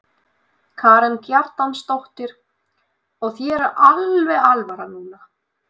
Karen Kjartansdóttir: Og þér er alveg alvara núna?